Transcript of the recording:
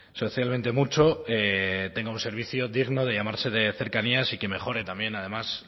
socialmente mucho tenga un servicio digno de llamarse de cercanías y que mejore también además